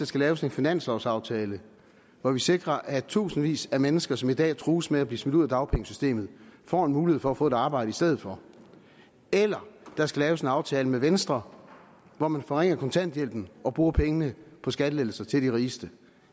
skal laves en finanslovaftale hvor vi sikrer at tusindvis af mennesker som i dag trues med at blive smidt ud af dagpengesystemet får en mulighed for at få et arbejde i stedet for eller der skal laves en aftale med venstre hvor man forringer kontanthjælpen og bruger pengene på skattelettelser til de rigeste